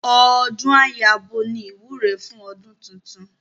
Ọdún á yabo ni ìwúre fún ọdún titun